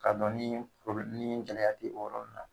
Ka dɔn ni ni gɛlɛya te yɔrɔ nunnu na